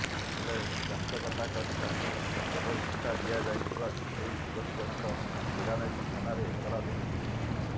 ହେଲେ ଚଞ୍ଚକତା କରି ତାଙ୍କୁ ଏଭଳି ଧୋକା ଦିଆଯାଇଥିବା ନେଇ ଯୁବତୀଜଣଙ୍କ ବିଡ଼ାନାସୀ ଥାନାରେ ଏତଲା ଦେଇଛନ୍ତି